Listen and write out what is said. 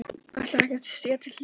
Ætlarðu ekki að stíga til hliðar?